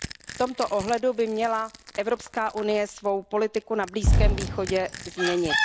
V tomto ohledu by měla EU svou politiku na Blízkém východě změnit.